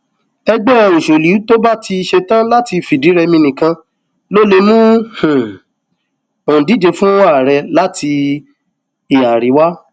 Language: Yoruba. ẹgbẹ òṣèlú tó bá ti ṣẹtàn láti fìdírẹmi nìkan ló lè mú um òǹdíje fún ààrẹ láti um ìhà àríwá